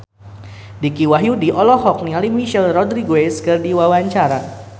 Dicky Wahyudi olohok ningali Michelle Rodriguez keur diwawancara